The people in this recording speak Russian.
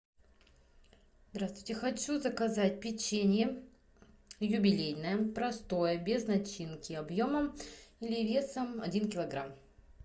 здравствуйте хочу заказать печенье юбилейное простое без начинки объемом или весом один килограмм